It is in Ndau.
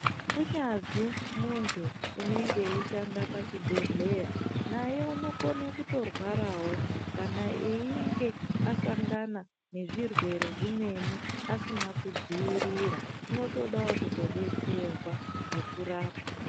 Kunyazi muntu unenge ei shanda laxhi bhedhleya naye anotogona kuto rwarawo kana einge asangana ngezvi rwere zvimweni asina ku dziirira unotodawo kuto betserwa ngeku rapwa.